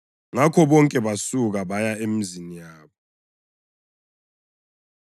Ngakho bonke basuka baya emizini yabo.